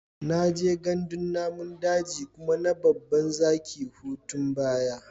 Na je gandun namun daji kuma na babban zaki hutun baya.